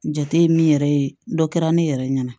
Jate ye min yɛrɛ ye dɔ kɛra ne yɛrɛ ɲɛna